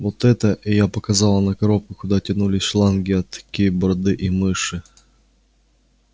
вот эта и я показала на коробку куда тянулись шланги от кейборды и мыши